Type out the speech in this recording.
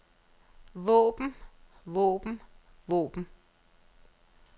våben våben våben